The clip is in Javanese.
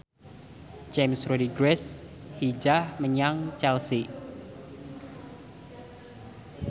James Rodriguez hijrah menyang Chelsea